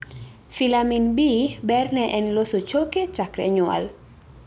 Filamin B ber ne en loso choke chakre nyuol